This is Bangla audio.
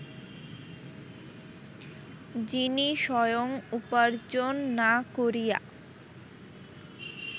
যিনি স্বয়ং উপার্জ্জন না করিয়া